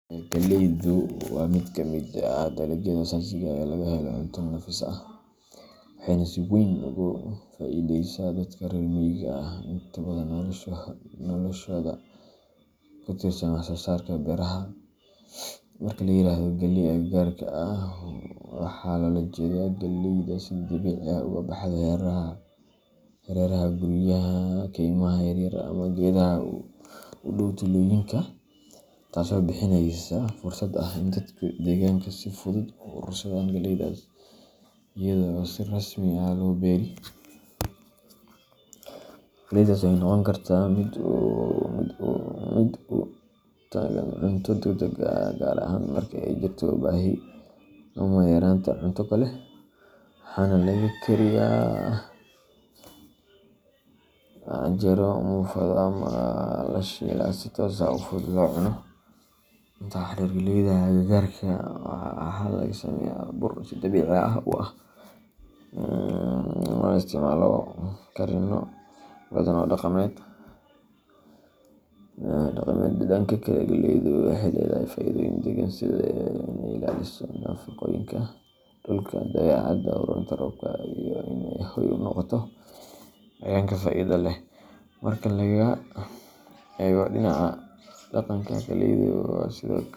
Galleydu waa mid ka mid ah dalagyada aasaasiga ah ee laga helo cunto nafis leh, waxayna si weyn ugu faa’iideysaa dadka reer miyiga ah oo inta badan noloshooda ku tiirsan wax soo saarka beeraha. Marka la yiraahdo "galley agagaarka ah," waxaa loola jeedaa galleyda si dabiici ah uga baxda hareeraha guryaha, kaymaha yar yar, ama geedaha u dhow tuulooyinka, taasoo bixinaysa fursad ah in dadka degaanku si fudud u urursadaan galleydaas iyada oo aan si rasmi ah loo beeri. Galleydaas waxay noqon kartaa mid u taagan cunto degdeg ah, gaar ahaan marka ay jirto baahi ama yaraanta cunto kale, waxaana laga kariyaa canjeero, muufado, ama la shiilaa si toos ah oo fudud loo cuno. Intaa waxaa dheer, galleyda agagaarka ah waxaa laga sameeyaa bur si dabiici ah u ah, loona isticmaalo karinno badan oo dhaqameed. Dhanka kale, galleydu waxay leedahay faa’iidooyin deegaan sida in ay ilaaliso nafaqooyinka dhulka, dabeecadda u roonta roobka, iyo in ay hoy u noqoto cayayaanka faa’iidada leh. Marka laga eego dhinaca dhaqanka, galleydu sidoo kale.